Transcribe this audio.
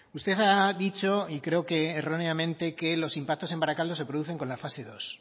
usted ha dicho y creo que erróneamente que los impactos en barakaldo se producen con la fase dos